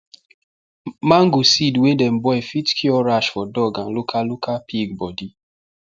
mango seed wey dem boil fit cure rash for dog and local local pig body